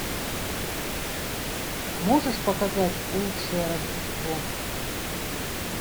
можешь показать лучшее рождество